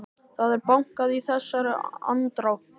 Það er bankað í þessari andrá.